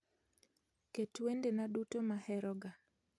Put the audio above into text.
Ket wendena duto maheroga